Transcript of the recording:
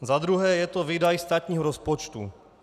Za druhé je to výdaj státního rozpočtu.